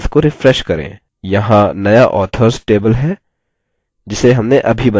यहाँ नया authors table है जिसे हमने अभी बनाया है